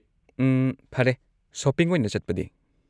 ꯎꯝ, ꯐꯔꯦ, ꯁꯣꯄꯤꯡ ꯑꯣꯏꯅ ꯆꯠꯄꯗꯤ?